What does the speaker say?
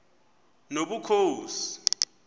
nobukhosi